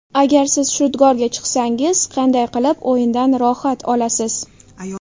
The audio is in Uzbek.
Agar siz shudgorga chiqsangiz, qanday qilib o‘yindan rohat olasiz?